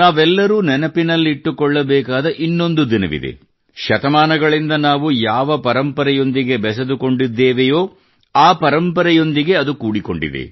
ನಾವೆಲ್ಲರೂ ನೆನಪಿನಲ್ಲಿಟ್ಟುಕೊಳ್ಳಬೇಕಾದ ಇನ್ನೊಂದು ದಿನವಿದೆ ಮತ್ತು ಶತಮಾನಗಳಿಂದ ನಾವು ಯಾವ ಪರಂಪರೆಯೊಂದಿಗೆ ಬೆಸೆದುಕೊಂಡಿದ್ದೇವೆಯೋ ಆ ಪರಂಪರೆಯೊಂದಿಗೆ ಅದು ಕೂಡಿಕೊಂಡಿದೆ